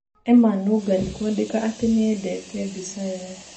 Emma Nũngari kwandĩka atĩ nĩenyendete mbica ĩo.